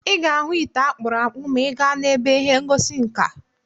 Ị ga-ahụ ite akpụrụ akpụ̀ maa ị gaa n'ebe ihe ngosi nka.